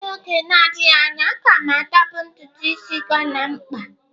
N'oge na-adịghị anya, a ga m atọpụ ntutu ịsị Ghana m kpaa..